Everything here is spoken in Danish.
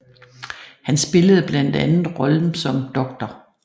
Han spillede blandt andet rollen som Dr